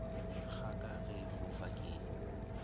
kgaka ge e fofa ke